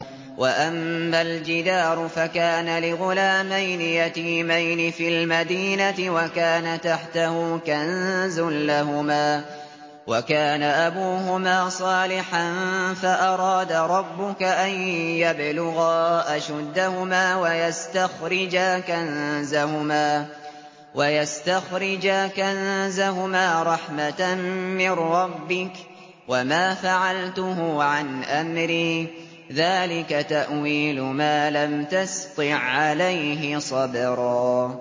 وَأَمَّا الْجِدَارُ فَكَانَ لِغُلَامَيْنِ يَتِيمَيْنِ فِي الْمَدِينَةِ وَكَانَ تَحْتَهُ كَنزٌ لَّهُمَا وَكَانَ أَبُوهُمَا صَالِحًا فَأَرَادَ رَبُّكَ أَن يَبْلُغَا أَشُدَّهُمَا وَيَسْتَخْرِجَا كَنزَهُمَا رَحْمَةً مِّن رَّبِّكَ ۚ وَمَا فَعَلْتُهُ عَنْ أَمْرِي ۚ ذَٰلِكَ تَأْوِيلُ مَا لَمْ تَسْطِع عَّلَيْهِ صَبْرًا